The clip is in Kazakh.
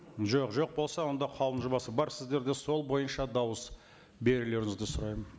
жоқ жоқ болса онда қаулының жобасы бар сіздерде сол бойынша дауыс берулеріңізді сұраймын